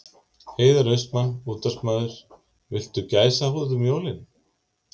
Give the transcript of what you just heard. Heiðar Austmann, útvarpsmaður Viltu gæsahúð um jólin?